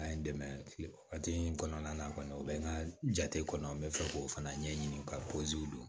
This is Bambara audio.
An ye dɛmɛ kile wagati min kɔnɔna na kɔni u be n ka jate kɔnɔ n be fɛ k'o fana ɲɛɲini ka don